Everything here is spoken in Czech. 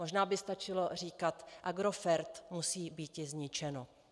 Možná by stačilo říkat: "Agrofert musí býti zničeno."